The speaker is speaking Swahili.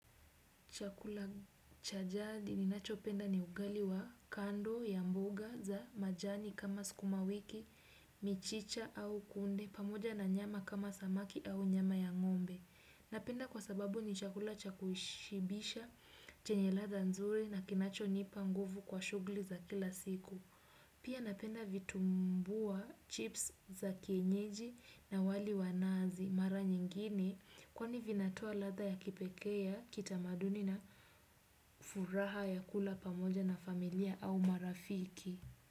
Chakula cha jadi ninachopenda ni ugali wa kando ya mboga za majani kama sukuma wiki, michicha au kunde, pamoja na nyama kama samaki au nyama ya ng'ombe. Napenda kwa sababu ni chakula cha kushibisha, chenye ladha nzuri na kinachonipa nguvu kwa shugli za kila siku. Pia napenda vitumbua chips za kienyeji na wali wa nazi mara nyingine kwani vinatoa ladha ya kipekee ya kitamaduni na furaha ya kula pamoja na familia au marafiki.